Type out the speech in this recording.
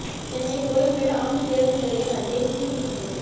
Chennai Koyambedu omni பேருந்து நிலையம் அருகே திடீர் தீ விபத்து